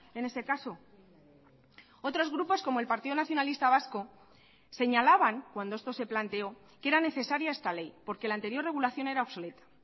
en ese caso otros grupos como el partido nacionalista vasco señalaban cuando esto se planteó que era necesaria esta ley porque la anterior regulación era obsoleta